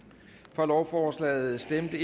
for lovforslaget stemte